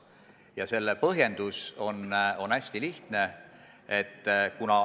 Ja selle põhjendus on hästi lihtne.